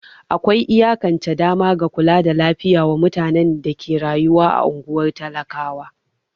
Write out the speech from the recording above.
Akwai iyakance dama ga kula da lafiya wa mutane da ke rayuwa a ungwar talakawa.